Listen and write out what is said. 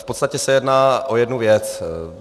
V podstatě se jedná o jednu věc.